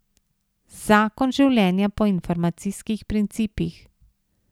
Zakon življenja po informacijskih principih.